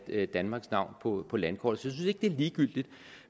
danmarks navn på landkortet synes ikke det er ligegyldigt